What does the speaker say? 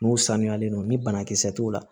N'u sanuyalen don ni banakisɛ t'u la